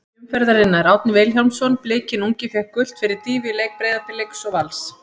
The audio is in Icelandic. Heiðarleiki umferðarinnar: Árni Vilhjálmsson Blikinn ungi fékk gult fyrir dýfu í leik Breiðabliks og Vals.